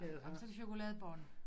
Ej men så er det chokoladebund